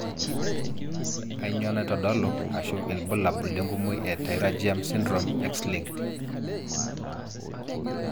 kanyio naitodolu aashu ilbulabul lenkumoi e pterygium syndrome Xlinked?